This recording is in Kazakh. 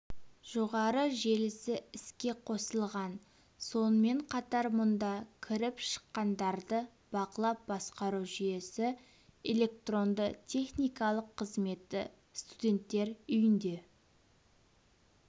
жоғары желісі іске қосылған сонымен қатар мұнда кіріп-шыққандарды бақылап басқару жүйесі электронды-техникалық қызметі студенттер үйінде